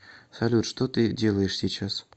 салют что ты делаешь сейчас